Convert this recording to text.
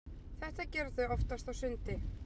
Þetta gera þau oftast á sundi.